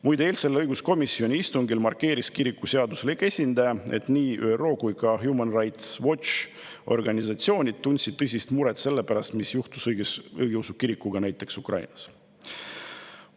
Muide, eilsel õiguskomisjoni istungil markeeris kiriku seaduslik esindaja, et nii ÜRO kui ka organisatsioon Human Rights Watch tundsid tõsist muret selle pärast, mis juhtus õigeusu kirikuga Ukrainas.